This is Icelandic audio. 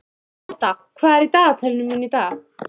Ótta, hvað er í dagatalinu mínu í dag?